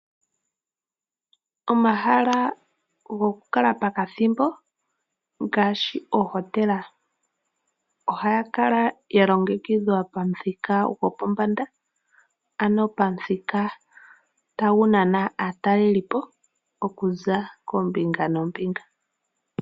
Omahala gokukala pokathimbo ngaashi ohotela ohaga kala galongekidhwa pamuthika gopombanda , ano pamuthika tagu nana aatalelipo okuza koombinga noombinga.